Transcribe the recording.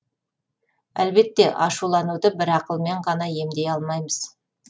әлбетте ашулануды бір ақылмен ғана емдей алмаймыз